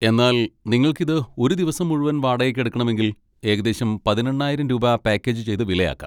എന്നാൽ നിങ്ങൾക്ക് ഇത് ഒരു ദിവസം മുഴുവൻ വാടകയ്ക്കെടുക്കണമെങ്കിൽ ഏകദേശം പതിനെണ്ണായിരം രൂപ പാക്കേജ് ചെയ്ത വില ആക്കാം.